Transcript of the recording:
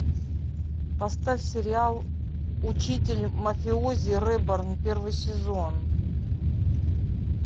поставь сериал учитель мафиози реборн первый сезон